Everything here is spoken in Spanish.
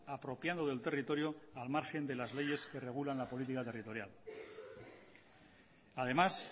apropiando del territorio al margen de las leyes que regulan la política territorial además